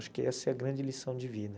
Acho que essa é a grande lição de vida.